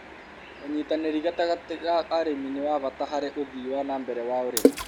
ũnyitanĩri gatagatĩ ga arĩmi nĩ wa bata harĩ ũthii wa na mbere wa ũrĩmi